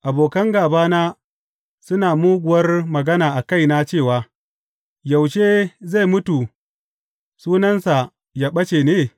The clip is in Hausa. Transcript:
Abokan gābana suna muguwar magana a kaina cewa, Yaushe zai mutu sunansa yă ɓace ne?